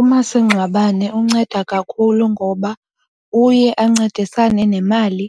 Umasingcwabane unceda kakhulu ngoba uye ancedisane nemali